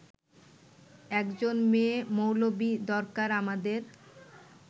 একজন মেয়ে-মৌলবি দরকার আমাদের